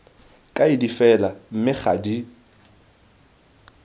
kaedi fela mme ga di